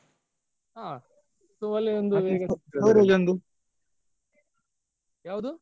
ಹಾ ಯಾವ್ದು?